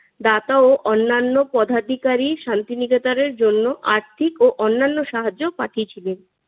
দাতা ও অন্যান্য পদাধিকারী শান্তি নিকেতনের জন্য আর্থিক ও অন্যান্য সাহায্য পাঠিয়েছিলেন।